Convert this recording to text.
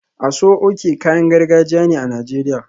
Aso oke kayan gargajiya ne a Najeriya